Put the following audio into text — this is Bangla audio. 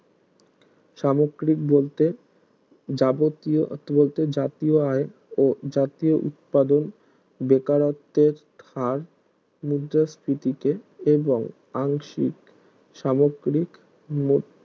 সামগ্রিক বলতে যাবতীয় জাতীয় আই ও জাতীয় উৎপাদন বেকারত্বের খাঁর মুদ্রাস্ফীতিকে এবং আংশিক সামগ্রিক